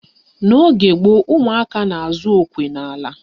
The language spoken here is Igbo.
N'oge gboo, umụaka na-azụ okwe n'ala.